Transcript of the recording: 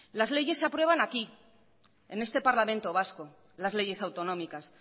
las leyes se aprueban aquí en este parlamento vasco las leyes autonómicas